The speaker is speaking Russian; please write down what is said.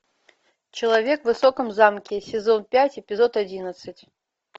человек в высоком замке сезон пять эпизод одиннадцать